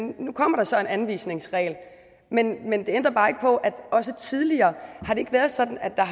nu kommer der så en anvisningsregel men det ændrer bare ikke på at også tidligere har det ikke været sådan at der